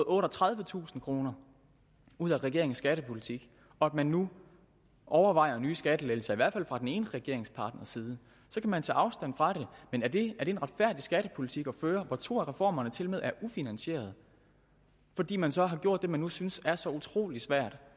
otteogtredivetusind kroner ud af regeringens skattepolitik og at man nu overvejer nye skattelettelser i hvert fald fra den ene regeringspartners side så kan man tage afstand fra det men er det en retfærdig skattepolitik at føre hvor to af reformerne tilmed er ufinansierede fordi man så har gjort det man nu synes er så utrolig svært